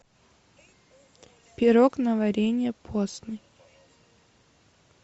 пирог на варенье постный